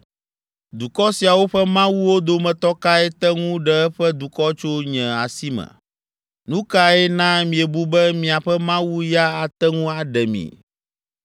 Dukɔ siawo ƒe mawuwo dometɔ kae te ŋu ɖe eƒe dukɔ tso nye asi me? Nu kae na miebu be miaƒe Mawu ya ate ŋu aɖe mi?